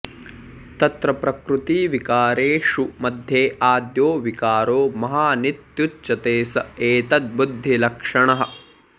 तत्र प्रकृतिविकारेषु मध्ये आद्यो विकारो महानित्युच्यते स एतद्बुद्धिलक्षणः